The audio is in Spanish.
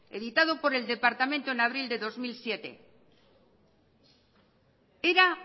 editado por el departamento en abril del dos mil siete era